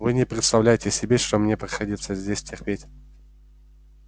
вы не представляете себе что мне приходится здесь терпеть